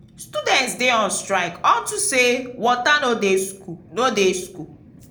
students dey on strike unto say water no dey school no dey school